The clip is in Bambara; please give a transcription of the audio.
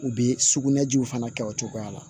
U bɛ sugunɛjiw fana kɛ o cogoya la